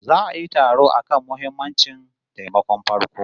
Za'a yi taro akan muhimammancin taimakon farko